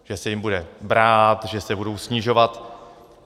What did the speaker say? Že se jim bude brát, že se budou snižovat.